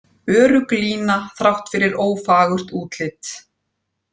Örugg lína þrátt fyrir ófagurt útlit